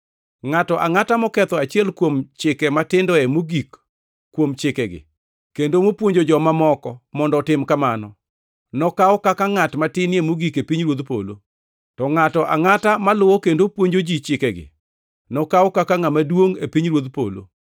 Ngʼato angʼata moketho achiel kuom chike matindoe mogik kuom Chikegi, kendo mopuonjo joma moko mondo otim kamano, nokaw kaka ngʼat matinie mogik e pinyruodh polo, to ngʼato angʼata maluwo kendo puonjo ji chikegi nokaw kaka ngʼama duongʼ e pinyruodh polo.